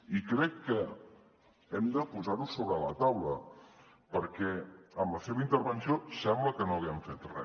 i crec que hem de posar ho sobre la taula perquè amb la seva intervenció sembla que no haguem fet re